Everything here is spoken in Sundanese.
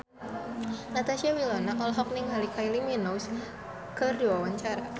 Natasha Wilona olohok ningali Kylie Minogue keur diwawancara